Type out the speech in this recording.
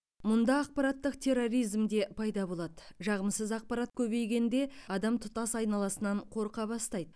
мұнда ақпараттық терроризм де пайда болады жағымсыз ақпарат көбейгенде адам тұтас айналасынан қорқа бастайды